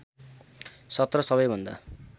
१७ सबैभन्दा